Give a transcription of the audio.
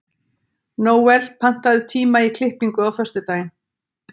Nóel, pantaðu tíma í klippingu á föstudaginn.